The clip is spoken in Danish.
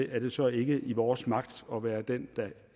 er det så ikke i vores magt at være den der